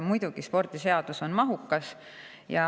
Muidugi, spordiseadus on mahukas.